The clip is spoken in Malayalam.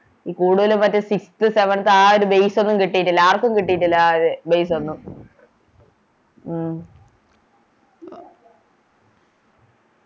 ഈ കൂടുതലും മറ്റേ Sixth seventh ആ ഒരു Base ഒന്നും കിട്ടീറ്റില്ല ആർക്കും കിട്ടീറ്റില്ല ആ ഒര് Base ഒന്നും ഉം